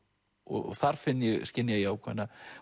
og þar skynja ég ákveðna